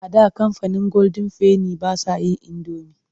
A da kamfanin golden penny ba sa yin indomi.